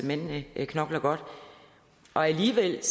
mændene knokler godt alligevel